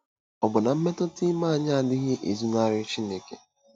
Ọbụna mmetụta ime anyị adịghị ezonarị Chineke.